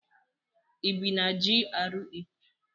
ị bi na GRA?